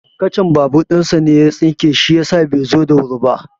Kacar babur ɗin shi ne ya tsinke shi yasa bai zo da wuri ba.